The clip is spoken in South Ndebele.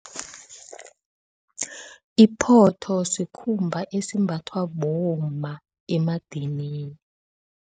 Iphotho sikhumba esimbathwa bomma emadamini.